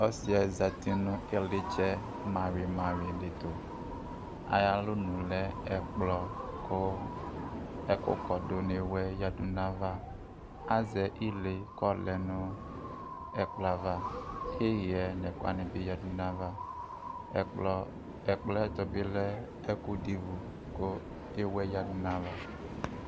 ɔsiɛ zati nʋ ilitsɛ mawhii mawhii ditʋ ayʋalɔnʋ lɛ ɛkplɔ kʋ ɛkɔdʋ nʋ iwɛ yadʋ nayuɛtʋ azɛ ilee kɔɔlɛnʋ ɛkplɔava ihɛ nʋ ɛkʋwani yadʋ nayava ɛkplɔ ɛkplɔɛtʋbilɛ ɛkʋdʋ ivʋ kʋ iwɛ yadu nayava